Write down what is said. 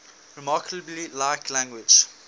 remarkably like language